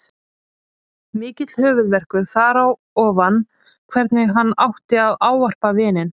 Mikill höfuðverkur þar á ofan hvernig hann átti að ávarpa vininn.